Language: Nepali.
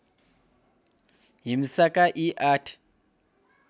हिंसाका यी आठ